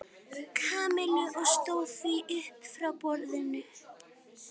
Kamillu og stóð því upp frá borðinu.